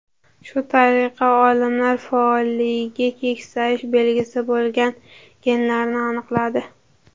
Shu tariqa olimlar faolligi keksayish belgisi bo‘lgan genlarni aniqladi.